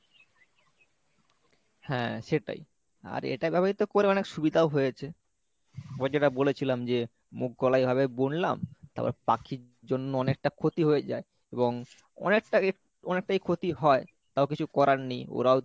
হ্যাঁ সেটাই আর এটা ব্যবহৃত করে অনেক সুবিধাও হয়েছে ওই যেটা বলেছিলাম যে মুগ কলাই এভাবে বুনলাম তারপর পাখির জন্য অনেকটা ক্ষতি হয়ে যায় এবং অনেকটা~ অনেকটাই ক্ষতি হয় তও কিছু করার নেই ওরাও তো